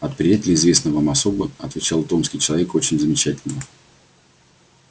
от приятеля известной вам особы отвечал томский человека очень замечательного